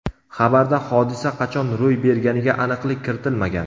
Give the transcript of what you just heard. Xabarda hodisa qachon ro‘y berganiga aniqlik kiritilmagan.